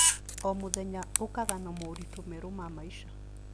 O mũthenya ũkaga na moritũ merũ ma maica.